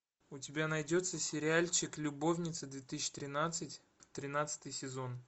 у тебя найдется сериальчик любовницы две тысячи тринадцать тринадцатый сезон